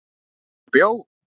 Eða bjó.